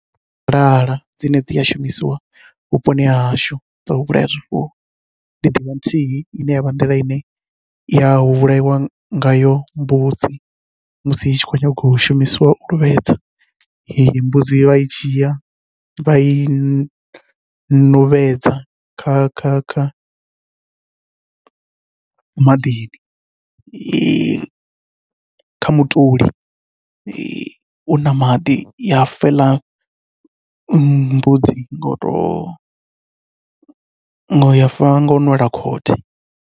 Sialala dzine dzi a shumisiwa vhuponi hahashu dzo u vhulaya zwifuwo ndi ḓivha nthihi ine yavha nḓila ine ya vhulaiwa ngayo mbudzi, musi i tshi khou nyanga u shumisiwa u luvhedza mbudzi vha i dzhia vha i ṋuvhedza kha kha kha maḓini kha mutuli u na maḓi ya fa heiḽa mbudzi ngou to ya fa ngau nwela khothe.